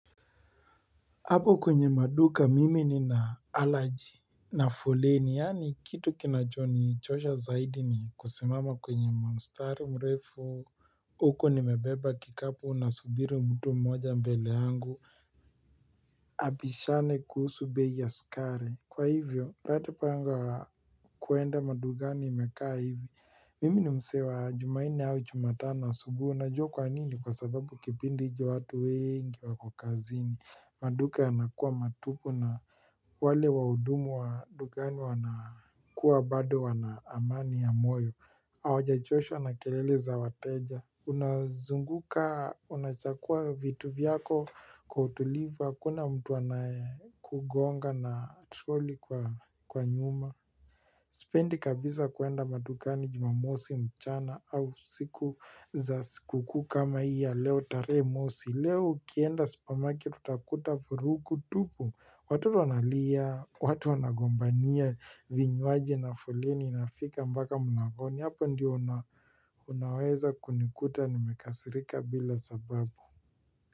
Hapo kwenye maduka mimi nina allergy na foleni yaani kitu kinachonichosha zaidi ni kusimama kwenye mstari mrefu huku nimebeba kikapu nasubiri mtu mmoja mbele yangu abishane kuhusu bei ya sukari. Kwa hivyo, hat mpango wa kuenda madukani imekaa hivi. Mimi ni msee wa Jumanne au Jumatano asubuhi. Unajua kwa nini kwa sababu kipindi hicho watu wengi wako kazini. Maduka yanakuwa matupu na wale wahudumu wa dukani wanakuwa bado wana amani ya moyo Hawajachoshwa na kelele za wateja. Unazunguka, unachagua vitu vyako kwa utulivu, hakuna mtu anayekugonga na troli kwa nyuma Sipendi kabisa kuenda madukani jumamosi mchana au siku za sikukuu kama hii ya leo tarehe mosi. Leo ukienda supermarket utakuta vurugu tupu. Watoto wanalia, watu wanagombania vinywaji na foleni inafika mpaka mlangoni hapa ndio unaweza kunikuta nimekasirika bila sababu.